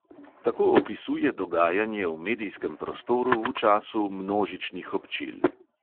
Tako opisuje dogajanje v medijskem prostoru v času množičnih občil.